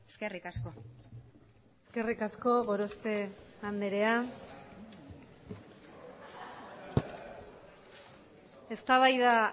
eskerrik asko eskerrik asko gorospe andrea eztabaida